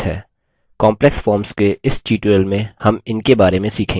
complex जटिल forms के इस tutorial में हम in बारे में सीखेंगे